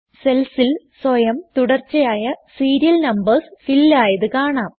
സെൽസിൽ സ്വയം തുടർച്ചയായ serial numbers fill ആയത് കാണാം